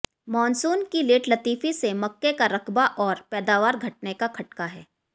monsoon की लेटलतीफी से मक्के का रकबा और पैदावार घटने का खटका है